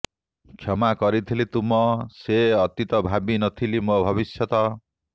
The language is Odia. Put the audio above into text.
କ୍ଷମା କରିଥିଲି ତୁମ ସେ ଅତୀତ ଭାବି ନଥିଲି ମୋ ଭବିଷ୍ୟତ